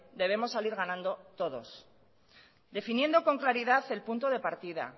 debemos salir ganando todos definiendo con claridad el punto de partida